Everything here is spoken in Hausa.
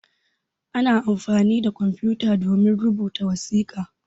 Ana amfani da kwamfuta domin rubuta wasiƙa.